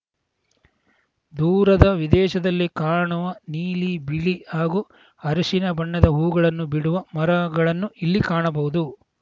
ದೂರದ ವಿದೇಶದಲ್ಲಿ ಕಾಣುವ ನೀಲಿ ಬಿಳಿ ಹಾಗೂ ಹರಿಶಿನ ಬಣ್ಣದ ಹೂವುಗಳನ್ನು ಬಿಡುವ ಮರಗಳನ್ನು ಇಲ್ಲಿ ಕಾಣಬಹುದು